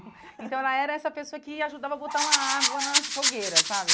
Então, ela era essa pessoa que ajudava a botar uma água na fogueira, sabe?